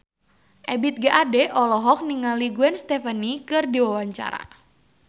Ebith G. Ade olohok ningali Gwen Stefani keur diwawancara